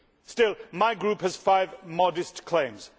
Still, my Group has five modest claims.